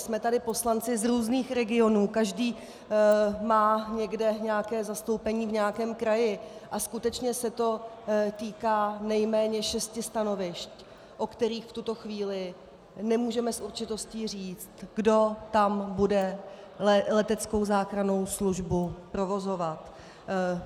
Jsme tady poslanci z různých regionů, každý má někde nějaké zastoupení v nějakém kraji a skutečně se to týká nejméně šesti stanovišť, o kterých v tuto chvíli nemůžeme s určitostí říci, kdo tam bude leteckou záchrannou službu provozovat.